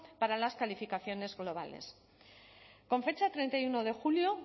para las calificaciones globales con fecha treinta y uno de julio